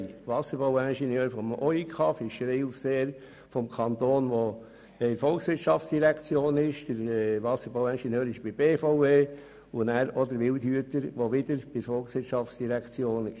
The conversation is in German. Der Wasserbauingenieur des Oberingenieurkreises, der der BVE unterstellt ist, sowie der Fischereiaufseher des Kantons und der Wildhüter, die beide der VOL unterstehen.